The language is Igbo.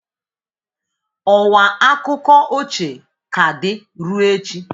Ọwa akụkọ ochie ka dị ruo echi.